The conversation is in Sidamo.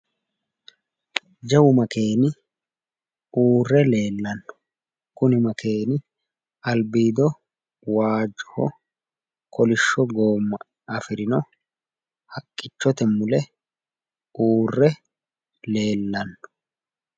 Jawu makeeni uurre leellanno. Kuni makeeni albiido waajjoho kolishsho goomma afirino haqqichote mule uurre leellanno.